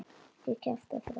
Ekki kjafta frá.